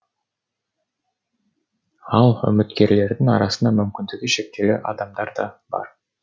ал үміткерлердің арасында мүмкіндігі шектеулі адамдар да бар